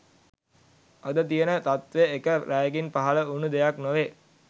අද තියන තත්ත්වය එක රැයකින් පහල වුන දෙයක් නොවේ